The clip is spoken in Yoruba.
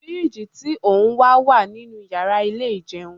Firiji ti o n wa wa ninu yara ile ijeun